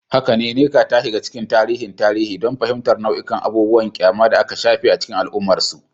Haka ne, Nneka ta shiga cikin tarihin tarihi don fahimtar nau'ikan abubuwan ƙyama da aka shafe a cikin al'ummarsu.